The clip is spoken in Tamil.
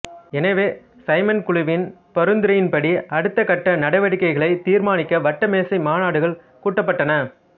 எனவே சைமன் குழுவின் பரிந்துரையின்படி அடுத்த கட்ட நடவடிக்கைகளைத் தீர்மானிக்க வட்டமேசை மாநாடுகள் கூட்டப்பட்டன